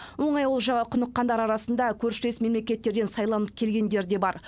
оңай олжаға құныққандар арасында көршілес мемлекеттерден сайланып келгендер де бар